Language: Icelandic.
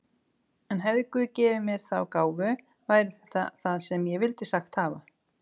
En hefði guð gefið mér þá gáfu væri þetta það sem ég vildi sagt hafa.